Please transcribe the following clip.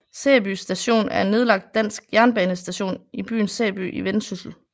Sæby Station er en nedlagt dansk jernbanestation i byen Sæby i Vendsyssel